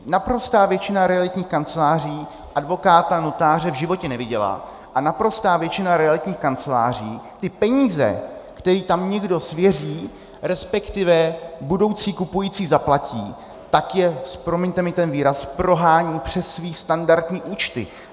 Naprostá většina realitních kanceláří advokáta, notáře v životě neviděla a naprostá většina realitních kanceláří ty peníze, které tam někdo svěří, respektive budoucí kupující zaplatí, tak je, promiňte mi ten výraz, prohání přes své standardní účty.